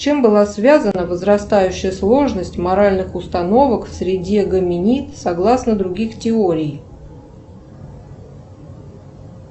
с чем была связана возрастающая сложность моральных установок среди гоминид согласно других теорий